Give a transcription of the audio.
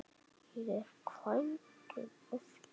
Ég er kvæntur aftur.